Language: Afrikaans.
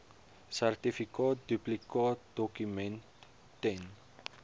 sertifikaat duplikaatdokument ten